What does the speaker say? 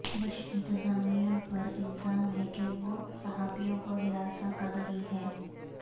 Bush انتظامیہ پر الزام ہے کہ وہ صحافیوں کو ہراساں کر رہی ہے